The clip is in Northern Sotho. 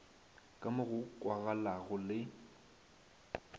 ka mo go kwagalago le